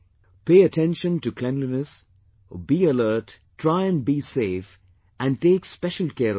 Pay attention to cleanliness, be alert, try and be safe and take special care of children